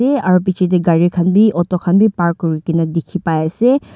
eh aro biche de gari kan b auto kan b park kurikina dikhi pai ase.